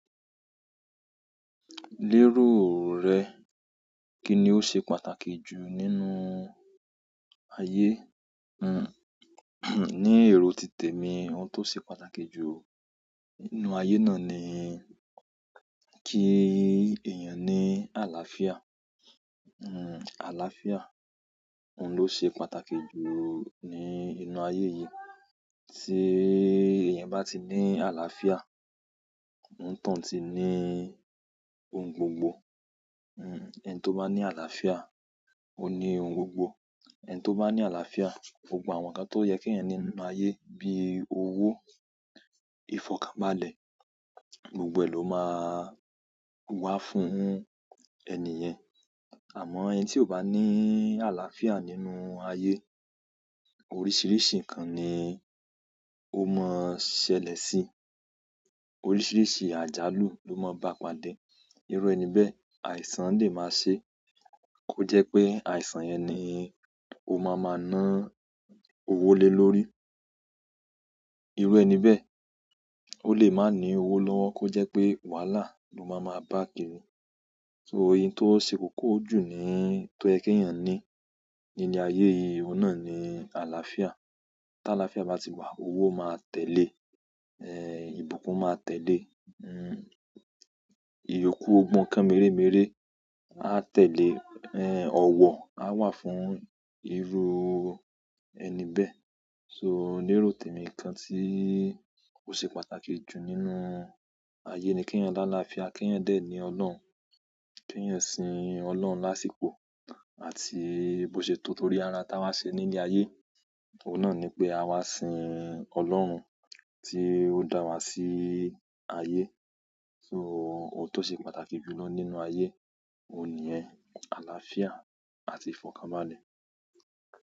Lérò rẹ, kí ni ó ṣe pàtàkì jù nínú ayé? Ní èrò titèmi oun tó ṣe pàtàkì jù nínú ayé náà ni kí èèyàn ní àlàáfíà. Àlàáfíà, òun ló ṣe pàtàkì jù ní inú ayé yìí. Tí èèyàn bá ti ní àlàáfíà, onítọ̀ún ti ní oun gbogbo. Ẹni tó bá ní àlàáfíà, ó ní oun gbogbo. Ẹni tó bá ní àlàáfíà, gbogbo àwọn ǹǹkan tó yẹ kí èèyàn ní nínú ayé bí owo, ìfọ̀kànbalẹ̀, gbogbo ẹ̀ ló máa wá fún ẹni yẹn. Àmọ́ ẹni tí ò bá ní àlàáfíà nínú ayé, oríṣiríṣi ǹǹkan ni ó máa ṣẹlẹ̀ si. Oríṣiríṣi àjálù ló máa bá padà. Irú ẹni bẹ́ẹ̀, àìsàn lè máa ṣe kó jẹ́ pé àìsàn yẹn ni ó ma máa náwó lé lórí. Irú ẹni bẹ́ẹ̀, ó lè máa ní owó lọ́wọ́ kó jẹ́ pé wàhálà ló ma máa bá kiri. Oun tó ṣe kókó jù ní—tó yẹ kí èèyàn ní nínú ayé yìí, òun náà ni àlàáfíà. Tí àlàáfíà bá ti wà, owó máa tẹ̀le, ìbùkún máa tẹ̀le, ìyókù— gbogbo ǹǹkan mèremère a tẹ̀le, ọ̀wọ̀ á wà fún irú ẹni bẹ́ẹ̀. So, lérò tèmi ǹǹkan tí ó ṣe pàtàkì jù nínú ayé ni kí èèyàn ní àlàáfíà, kí èèyàn dẹ̀ ní Ọlọ́run, kí èèyàn sin Ọlọ́run lásìkò àti bó ṣe tọ́, torí ara oun tá wá ṣe nílé ayé. Òun náà ni pé a wá sin Ọlọ́run tí ó dá wa sí ayé. So oun tó ṣe pàtàkì jù lọ nínú ayé, òun nìyẹn, àlàáfíà àti ìfọ̀kànbalẹ̀.